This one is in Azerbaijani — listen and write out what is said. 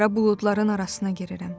Qara buludların arasına girirəm.